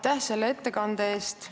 Aitäh selle ettekande eest!